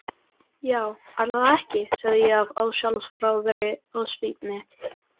Já ætli það ekki, sagði ég af ósjálfráðri ósvífni.